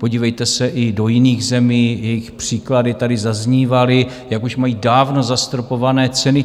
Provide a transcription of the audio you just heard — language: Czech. Podívejte se i do jiných zemí, jejichž příklady tady zaznívaly, jak už mají dávno zastropované ceny.